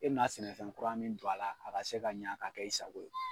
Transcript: E be sɛnɛfɛn kura min don a la a ka se ka ɲɛ ka kɛ i sago ye